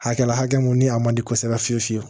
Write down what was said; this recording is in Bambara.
Hakɛ la hakɛ mun ni a man di kosɛbɛ fiyewu fiyewu